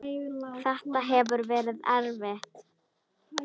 Þetta hefur verið erfitt.